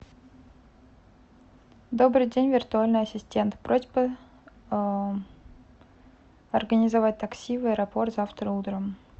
добрый день виртуальный ассистент просьба организовать такси в аэропорт завтра утром